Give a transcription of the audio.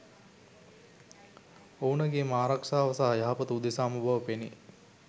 ඔවුනගේම ආරක්‍ෂාව සහ යහපත උදෙසාම බව පෙනේ.